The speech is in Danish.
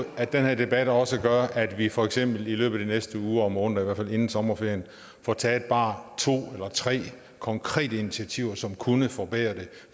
at den her debat også gør at vi for eksempel i løbet af de næste uger og måneder i hvert fald inden sommerferien får taget bare to eller tre konkrete initiativer som kunne forbedre det